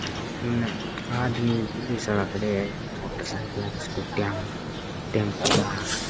उनने आदमी है पुलिस वालो खड़े है मोटरसाइकिल स्कूटी टम्पू ।